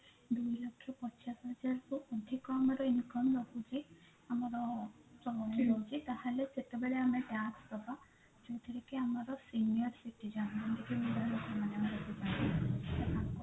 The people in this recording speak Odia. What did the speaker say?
ଦି ଲକ୍ଷ ପଚାଶ ହଜାର ରୁ ଅଧିକ ଆମର income ରହୁଛି ଆମର ତାହେଲେ ସେତେବେଳେ ଆମେ tax ଦବା ଯୋଉଥିରେ କି ଆମର senior citizen